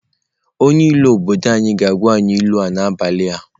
Onye ilu obodo ga-agwa anyị ilu a n'abalị a.